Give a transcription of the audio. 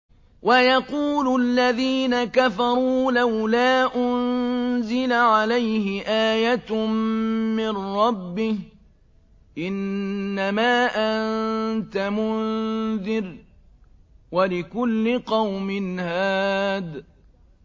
وَيَقُولُ الَّذِينَ كَفَرُوا لَوْلَا أُنزِلَ عَلَيْهِ آيَةٌ مِّن رَّبِّهِ ۗ إِنَّمَا أَنتَ مُنذِرٌ ۖ وَلِكُلِّ قَوْمٍ هَادٍ